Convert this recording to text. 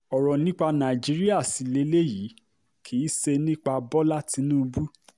ọ̀rọ̀ nípa nàìjíríà sí lélẹyìí kì í ṣe nípa bọ́lá tìǹbù